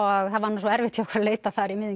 og það var nú svo erfitt hjá okkur að leita þar í miðjum